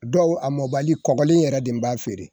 Dɔw a mɔbali kɔbali yɛrɛ de b'a feere